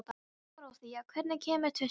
Dorothea, hvenær kemur tvisturinn?